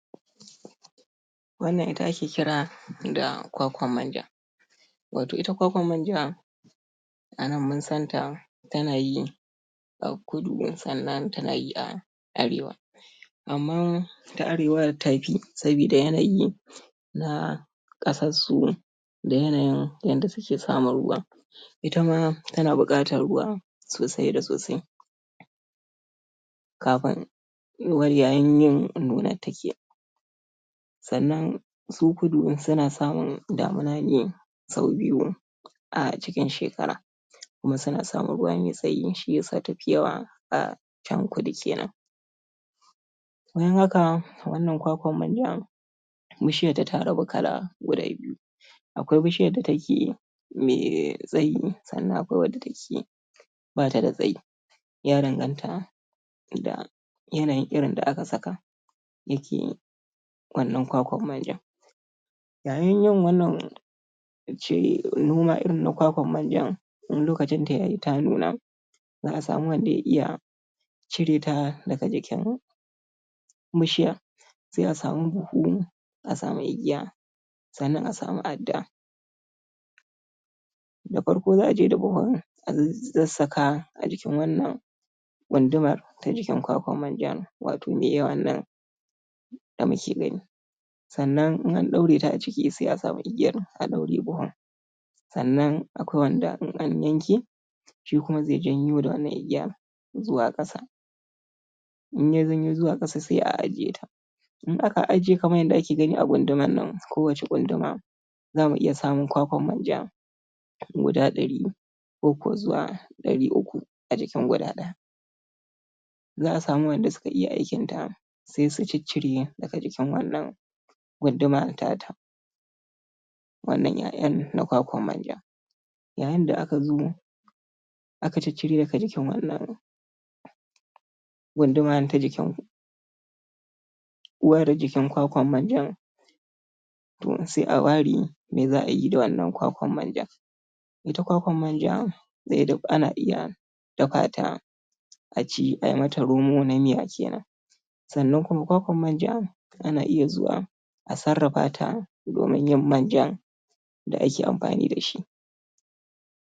Wannan ita ake kira da kwakwar-manja, wato ita kwakwar-manja a nan mun san ta ta na yi a kudu sannan ta na yi a arewa, amma ta arewar tafi, saboda yanayi na ƙasarsu da yanayin yadda suke samun ruwan, itama ta na buƙatar ruwa sosai da sosai, kafin yuwuwar yayin yin nunarta kenan, sannan su kudu su na samun damuna ne sau biyu a cikin shekara, kuma su na samun ruwa mai tsayi shiyasa tafi yawa a can kudu kenan, bayan haka wannan kwakwar manjan bishiyarta ta rabu kala guda biyu, akwai bishiyar da ta ke yi mai tsayi, sannan akwai wadda ta ke ba ta da tsayi, ya danganta da yanayin irin da aka saka ya ke yi wannan kwakwar manjan, yayin yin wannan in ce noma irin na kwakwar-manja in lokacinta ya yi ta nuna za'a samu wanda ya iya cireta daga jikin bishiya sai a samu buhu, a samu igiya sannan a samu adda. Da farko za a je da buhun a sassaka a jikin wannan gundumar ta jikin kwakwar-manjan wato mai yawan nan da mu ke gani, sannan in an ɗaureta a ciki sai a samu igiyar a ɗaure buhun, sannan akwai wanda in an yanke shi kuma zai janyo da wannan igiya zuwa ƙasa, in ya janyo zuwa ƙasa sai a, ajiye ta, in aka aje kamar yadda ake gani a gundumar nan kowace ƙunduma zamu iya samun kwakwar-manja guda ɗari, koko zuwa ɗari uku a jikin guda ɗaya, za a samu wanda suka iya aikinta sai su ciccire daga jikin wannan gunduma tata, wannan 'ya'yan na kwakwar-manja. yayinda aka zo aka ciccire daga jikin wannan gunduman ta jikin uwar jikin kwakwar-manjan, to sai a ware me za'ayi da wannan kwakwar-manjan, ita kwakwar-manja zai yiwu duk ana iya dafa ta a ci ai mata romo na miya kenan, sannan kuma kwakwar-manja ana iya zuwa a sarrafata domin yin manjan da ake amfani da shi.